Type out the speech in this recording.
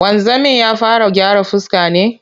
Wanzamin ya fara gyaran fuska ne?